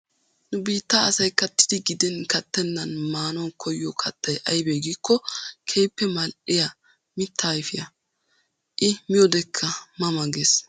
Nu biitta asayi kattidi gidin kattennan maanawu koyyiyoo kattayi ayibbee giikko keehippe mal''iyaa mittaa ayipiyaa. I miyoodekka ma ma ges.